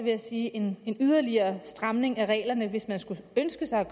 jeg sige at en yderligere stramning af reglerne hvis man skulle ønske sig